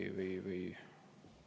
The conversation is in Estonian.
– vaenlast.